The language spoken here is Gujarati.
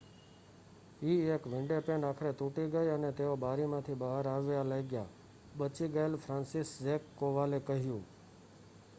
"eએક વિંડોપેન આખરે તૂટી ગઈ અને તેઓ બારીમાંથી બહાર આવવા લાગ્યા," બચી ગયેલા ફ્રાન્સિસઝેક કોવાલે કહ્યું.